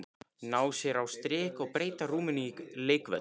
Ná sér á strik og breyta rúminu í leikvöll.